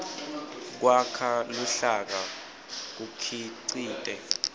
kwakha luhlaka kukhicite